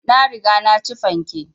Na riga na ci fanke